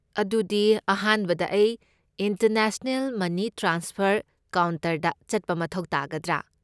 ꯑꯗꯨꯗꯤ, ꯑꯍꯥꯟꯕꯗ ꯑꯩ ꯏꯟꯇꯔꯅꯦꯁꯅꯦꯜ ꯃꯅꯤ ꯇ꯭ꯔꯥꯟꯁꯐꯔ ꯀꯥꯎꯟꯇꯔꯗ ꯆꯠꯄ ꯃꯊꯧ ꯇꯥꯒꯗ꯭ꯔꯥ?